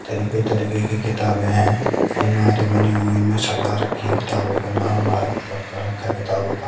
तरीके तरीके की किताबे हैं अलमारी बनी हुई है उनमे सजा रखे किताबे का नाम बाहेर की तरफ कर रखा है किताबों का।